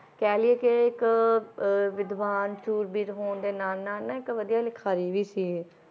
ਕਹਿ ਲਇਏ ਕਿ ਇੱਕ ਅਹ ਵਿਦਵਾਨ ਸੂਰਬੀਰ ਹੋਣ ਦੇ ਨਾਲ ਨਾਲ ਨਾ ਇੱਕ ਵਧੀਆ ਲਿਖਾਰੀ ਵੀ ਸੀ ਇਹ